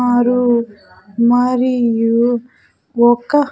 ఆరు మరియు ఒక --